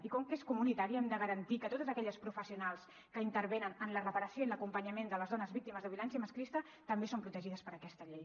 i com que és comunitària hem de garantir que totes aquelles professionals que intervenen en la reparació i l’acompanyament de les dones víctimes de violència masclista també siguin protegides per aquesta llei